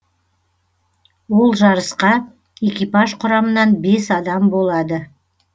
ол жарысқа экипаж құрамынан бес адам болады